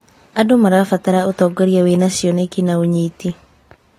Andũ marabatara ũtongoria wĩna cioneki na ũnyiti.